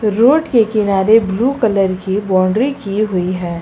Road के किनारे blue colour की बाउंड्री की हुई है।